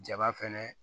Jaba fɛnɛ